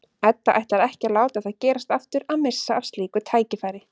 Edda ætlar ekki að láta það gerast aftur að missa af slíku tækifæri.